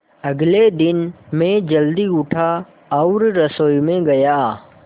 अगले दिन मैं जल्दी उठा और रसोई में गया